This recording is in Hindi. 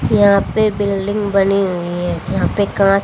यहां पे बिल्डिंग बनी हुई है। यहां पे--